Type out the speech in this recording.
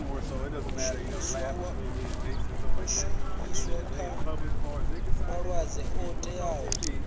shumiswe kha malwadzwe o teaho